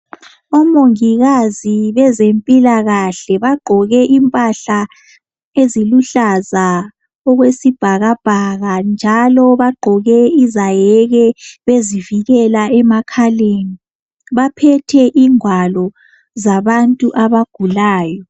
Omongikazi bezempilakahle bagqoke impahla eziluhlaza okwesibhakabhaka njalo bagqoke izaheke, bezivikela emakhaleni. Baphethe ingwalo zabantu abagulayo.